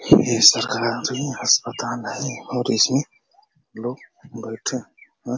ये सरकारी हस्पताल है और इसमें लोग बैठे हैं।